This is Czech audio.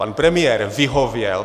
Pan premiér vyhověl.